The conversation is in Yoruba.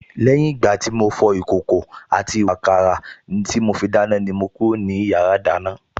Lẹ́yìn ìgbà tí mo fọ ìkòkò àti ìwààkàrà tí mo fi dáná ni mo kúrò ní yàrá ìdáná